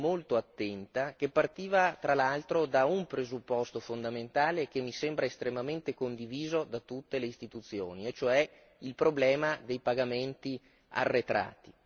molto attenta che partiva tra l'altro da un presupposto fondamentale e che mi sembra estremamente condiviso da tutte le istituzioni e cioè il problema dei pagamenti arretrati.